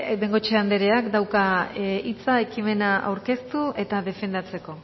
bengoechea andereak dauka hitza ekimena aurkeztu eta defendatzeko